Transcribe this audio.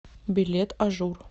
билет ажур